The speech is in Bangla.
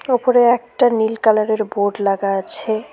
উপরে একটা নীল কালারের বোর্ড লাগা আছে।